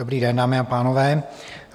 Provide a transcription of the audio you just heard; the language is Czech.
Dobrý den, dámy a pánové.